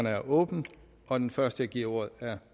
er åbnet og den første jeg giver ordet er